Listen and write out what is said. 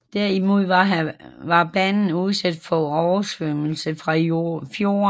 Derimod var banen udsat for oversvømmelse fra fjorden